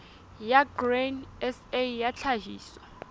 ya grain sa ya tlhahiso